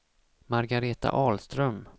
Margaretha Ahlström